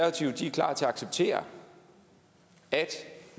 klar til at acceptere at